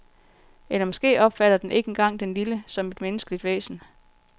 Eller måske opfatter den ikke engang den lille som et menneskeligt væsen.